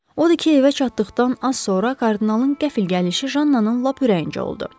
O da ki, evə çatdıqdan az sonra kardinalın qəfl gəlişi Jannanın lap ürəyincə oldu.